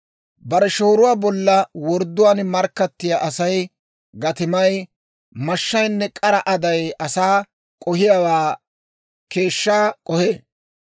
Bare shooruwaa bolla wordduwaan markkattiyaa Asay gatimay, mashshaynne k'ara aday asaa k'ohiyaawaa keeshshaa k'ohee.